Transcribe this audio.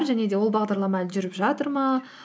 және де ол бағдарлама әлі жүріп жатыр ма